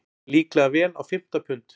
Líklega vel á fimmta pund.